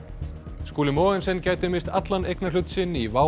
Skúli Mogensen gæti misst allan eignarhlut sinn í WOW